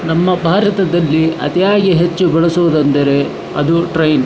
ನಮ್ಮ ಭಾರತದಲ್ಲಿ ಅತಿಯಾಗಿ ಹೆಚ್ಚು ಬಳಸುವುದು ಏನೆಂದರೆ ಅದು ಟ್ರೈನ್ .